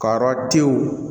Ka yɔrɔ denw